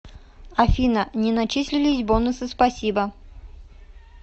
афина не начислились бонусы спасибо